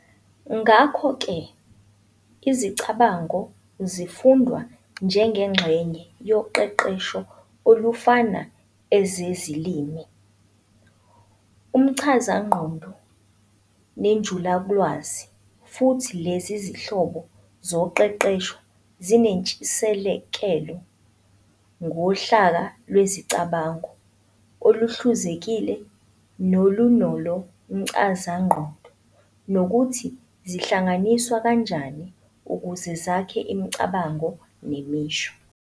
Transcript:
Ngakho-ke, izicabango zifundwa njengengxenye yoqeqesho olufana ezezilimi, umchazangqondo, nenjulalwazi, futhi lezi zinhlobo zoqeqesho zinentshisekelo ngohlaka lwezicabango oluhluzekile nolu nolo mchazangqondo, nokuthi zihlanganiswa kanjani ukuze zakhe imicabango nemisho.